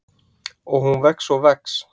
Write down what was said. Og hún vex og vex.